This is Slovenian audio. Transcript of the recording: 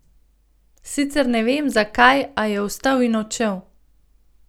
Sicer ne vem, zakaj, a je vstal in odšel.